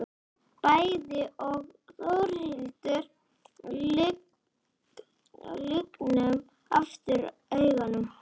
Bæði ég og Þórhildur lygnum aftur augunum.